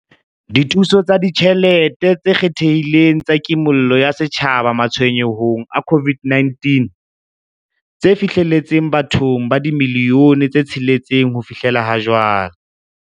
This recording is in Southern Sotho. Dithuso tsa Ditjhelete tse Kgethehileng tsa Kimollo ya Setjhaba Matshwenyehong a COVID-19, tse fihlelletseng bathong ba dimilione tse tsheletseng ho fihlela jwale.